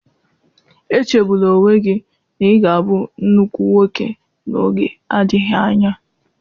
Echegbula onwe gị na ị ga-abụ nnukwu nwoke n'oge adịghị anya.